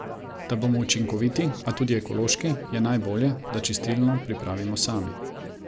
Da bomo učinkoviti, a tudi ekološki, je najbolje, da čistilo pripravimo sami.